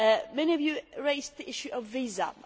Many of you raised the issues of visas.